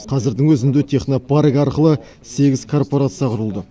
қазірдің өзінде технопарк арқылы сегіз корпорация құрылды